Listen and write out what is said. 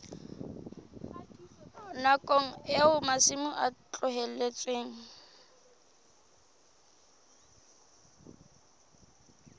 nakong eo masimo a tlohetsweng